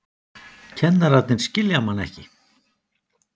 Kennararnir skilja mann ekki.